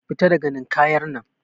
ka fita daga Ninkayar nan